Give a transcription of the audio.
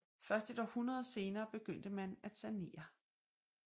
Først et århundrede senere begyndte man at sanere